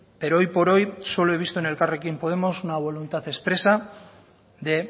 pero hoy por hoy solo he visto en elkarrekin podemos una voluntad expresa de